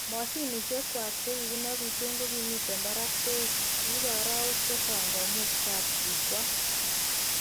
Moshinishek ngwak chekinopishen ko kimiten barak beit, kiibe arawek chechang komuch kapchi kwal.